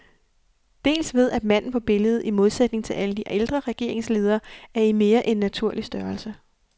Dels ved at manden på billedet, i modsætning til alle de ældre regeringsledere, er i mere end naturlig størrelse.